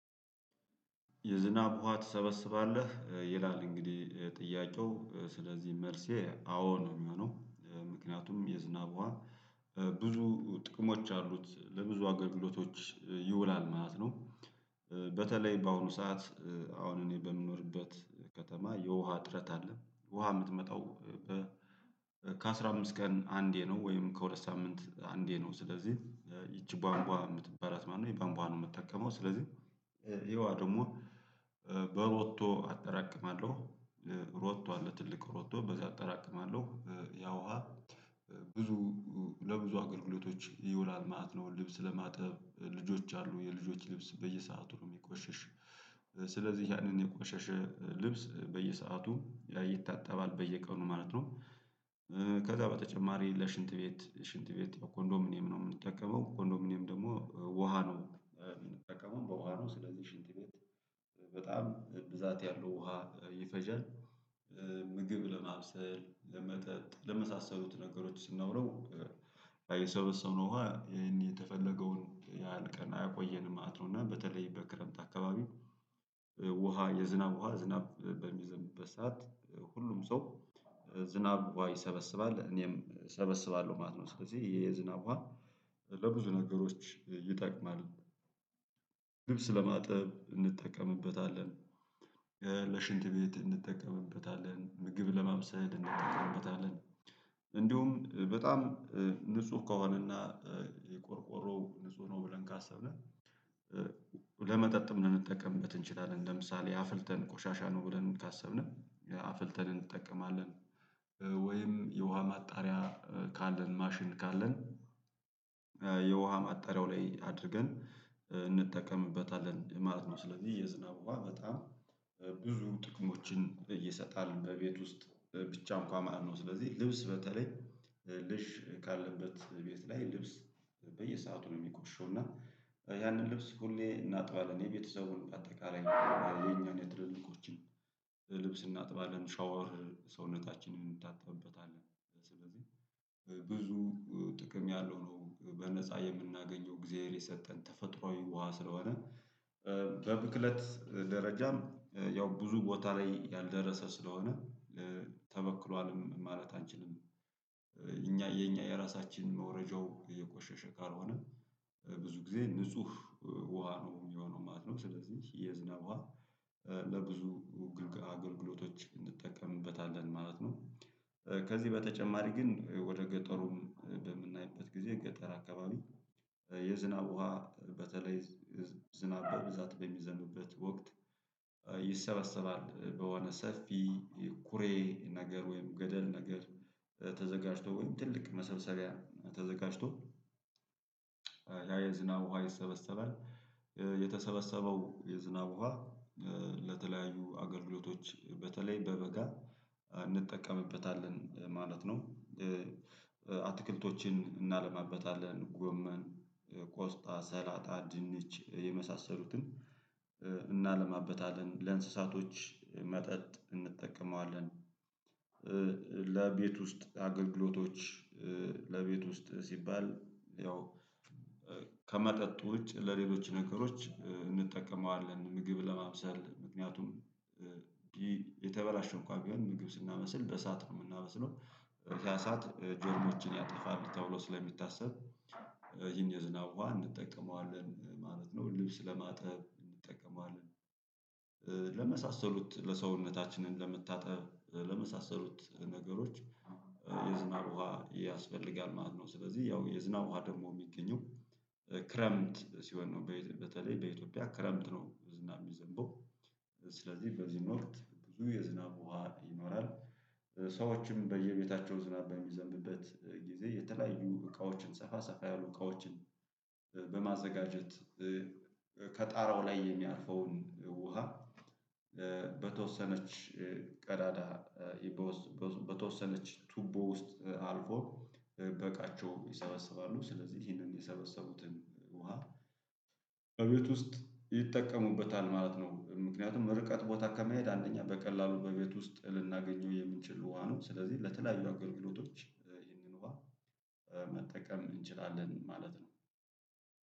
የዝናብ ውሃ ትሰበስባለህ ይላል እንግዲህ ጥያቄው ስለዚህ መልሴ አዎ ነው የሚሆነው ምክንያቱም የዝናብ ውሃ ብዙ ጥቅሞች አሉት ለብዙ አገልግሎቶች ይውላል ማለት ነው። በተለይ በአሁኑ ሰዓት አሁን እኔ በምኖርበት ከተማ የውሃ እጥረት አለ። ውሃ የምትመጣው ከአሥራ አምስት ቀን አንዴ ነው። ወይም ከሁለት ሳምንት አንዴ ነው። ስለዚህ ይቺ ባንቧ የምትባላት ማለት ነው የባንቧ ነው የምትጠቀመው ስለዚህ ይሄዋ ደግሞ በሮቶ አጠራቅማለሁ። ሮቶ አለ ትልቅ ሮቶ በዛ አጠራቅማለሁ ያ ውሃ። ብዙ ለብዙ አገልግሎቶች ይውላል ማለት ነው። ልብስ ለማጠብ ልጆች አሉ የልጆች ልብስ በየሰአቱ ነው የሚቆሸሽ። ስለዚህ ያንን የቆሸሸ ልብስ በየሰአቱ ይታጠባል በየቀኑ ማለት ነው። ከዛ በተጨማሪ ለሽንት ቤት ሽንት ቤት ያው ኮንዶሚኒየም ነው የምንጠቀመው ኮንዶሚኒየም ደግሞ ውሃ ነው የምንጠቀመው በውሃ ነው ስለዚህ ሽንት ቤት። በጣም ብዛት ያለው ውሃ ይፈጀል። ምግብ ለማብሰል ለመጠጥ ለመሳሰሉት ነገሮች ስናውለው። የሰበሰብነው ውሃ ይሄን የተፈለገውን ያህል ቀን ያቆየንም ማለት ነው። እና በተለይ በክረምት አካባቢ የዝናብ ውሃ ትሰበስባለህ ይላል? እንግዲህ ጥያቄው ስለዚህ መልሴ አዎ ነው የሚሆነው ምክንያቱም የዝናብ ውሃ ብዙ ጥቅሞች አሉት። ለብዙ አገልግሎቶች ይውላል ማለት ነው። ልብስ ለማጠብ እንጠቀምበታለን። ለሽንት ቤት እንጠቀምበታለን ምግብ ለማምሰል እንጠቀምበታለን። እንደውም በጣም ንጹህ ከሆነና የቆርቆሮ ንጹህ ነው ብለን ካሰብነን። ለመጠጥም ልንጠቀምበት እንችላለን ለምሳሌ አፍልተን ቆሻሻ ነው ብለን ካሰብነን አፍልተን እንጠቀማለን። ወይም የውሃ ማጣሪያ ካለን ማሽን ካለን። የውሃ ማጣሪያው ላይ አድርገን እንጠቀምበታለን ማለት ነው። ስለዚህ የዝናው ውሃ በጣም ብዙ ጥቅሞችን እየሰጣል በቤት ውስጥ ብቻ እንኳን ማለት ነው። ስለዚህ ልብስ በተለይ ልጅ ካለበት ቤት ላይ ልብስ በየሰአቱ ነው የሚቆሽሸው እና ያንን ልብስ ሁሌ እናጥባለን የቤተሰቡን በአጠቃላይ የኛን የትልልቆችን ልብስ እናጥባለን ሻወር ሰውነታችንን እንታጠብበታለን። ስለዚህ ብዙ ጥቅም ያለው ነው በነፃ የምናገኘው እግዚአብሔር የሰጠን ተፈጥሮአዊ ውሃ ስለሆነ። በብክለት ደረጃም ያው ብዙ ቦታ ላይ ያልደረሰ ስለሆነ ተበክሏልም ማለት አንችልም። እኛ የኛ የራሳችን መውረጃው እየቆሸሸ ካልሆነ ብዙ ጊዜ ንጹህ ውሃ ነው የሚሆነው ማለት ነው። ስለዚህ የዝናብ ውሃ ለብዙ ግልጋ አገልግሎቶች እንጠቀምበታለን ማለት ነው። ከዚህ በተጨማሪ ግን ወደ ገጠሩም በምናይበት ጊዜ ገጠር አካባቢ። የዝናብ ውሃ በተለይ ዝናብ በብዛት በሚዘንብበት ወቅት። ይሰበሰባል በሆነ ሰፊ ኩሬ ነገር ወይም ገደል ነገር ተዘጋጅቶ ወይም ትልቅ መሰብሰቢያ ተዘጋጅቶ ያ የዝናብ ውሃ ይሰበሰባል። የተሰበሰበው የዝናብ ውሃ ለተለያዩ አገልግሎቶች በተለይ በበጋ እንጠቀምበታለን ማለት ነው። አትክልቶችን እናለማበታለን ጎመን ቆስጣ ሰላጣ ድንች የመሳሰሉትን እናለማበታለን ለእንስሳቶች መጠጥ እንጠቀመዋለን። ለቤት ውስጥ አገልግሎቶች ለቤት ውስጥ ሲባል ያው ከመጠጡ ውጭ ለሌሎች ነገሮች እንጠቀመዋለን ምግብ ለማብሰል ምክንያቱም። የተበላሸ እንኳን ቢሆን ምግብ ስናበስል በእሳት ነው የምናበስለው። በዛ ሰዓት ጀርሞችን ያጠፋል ተብሎ ስለሚታሰብ ይሄን የዝናብ ውሃ እንጠቀመዋለን ማለት ነው። ልብስ ለማጠብ እንጠቀመዋለን። ለመሳሰሉት ለሰውነታችንን ለመታጠብ ለመሳሰሉት ነገሮች የዝናብ ውሃ ያስፈልጋል ማለት ነው። ስለዚህ ያው የዝናብ ውሃ ደግሞ የሚገኘው ክረምት ሲሆን ነው በየት በተለይ በኢትዮጵያ ክረምት ነው ዝናብ የሚዘንበው። ስለዚህ በዚህም ወቅት ብዙ የዝናብ ውሃ ይኖራል። ሰዎችም በየቤታቸው ዝናብ በሚዘምብበት ጊዜ የተለያዩ እቃዎችን ሰፋ ሰፋ ያሉ እቃዎችን በማዘጋጀት ከጣራው ላይ የሚያርፈውን ውሃ። በተወሰነች ቀዳዳ በተወሰነች ቱቦ ውስጥ አልፎ በቃቸውም ይሰበሰባሉ ስለዚህ ይሄንን የሰበሰቡትን ውሃ። በቤት ውስጥ ይጠቀሙበታል ማለት ነው። ምክንያቱም ርቀት ቦታ ከመሄድ አንደኛ በቀላሉ በቤት ውስጥ ልናገኘው የምንችለው ውሃ ነው። ስለዚህ ለተለያዩ አገልግሎቶች ይህንን ውሃ መጠቀም እንችላለን ማለት ነው